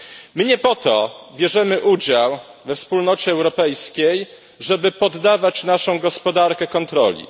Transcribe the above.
My nie po to bierzemy udział we Wspólnocie Europejskiej, żeby poddawać naszą gospodarkę kontroli.